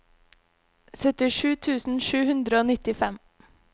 syttisju tusen sju hundre og nittifem